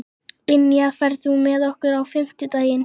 Ynja, ferð þú með okkur á fimmtudaginn?